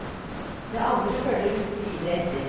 Det andre følger uten videre etter.